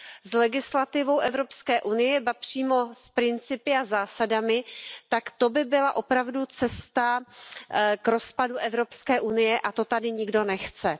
s legislativou Evropské unie, ba přímo s principy a zásadami, tak to by byla opravdu cesta k rozpadu Evropské unie a to tady nikdo nechce.